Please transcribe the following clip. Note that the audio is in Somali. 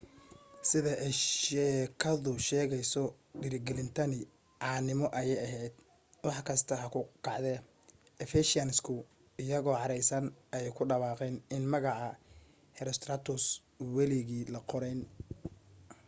sida ay sheekadu sheegayso dhiirigelintani caanimo ayay ahayd wax kasta ha ku kacdee ephesians-ku iyagoo caraysan ayay ku dhawaaqeen in magaca herostratus weligii la qorayn